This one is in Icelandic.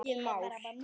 Bara er ekkert svar.